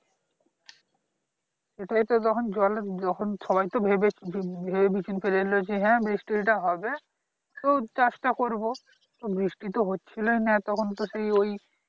এটাই তো তখন জলের সবাই তো ভেবেভেবেচিন্তে ফেলেছে হ্যাঁ বৃষ্টিটা হবে তো কাজটা করবো তো বৃষ্টি তো হচ্ছিলোই না এতক্ষন তো সেই ওই